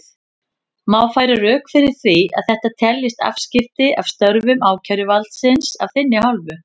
Má færa rök fyrir því að þetta teljist afskipti af störfum ákæruvaldsins af þinni hálfu?